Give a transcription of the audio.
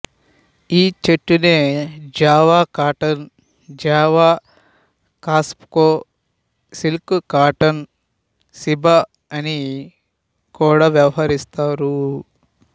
ఈ చెట్టునే Java cotton Java kapok silk cotton ceiba అని కూడా వ్యవహరిస్తారు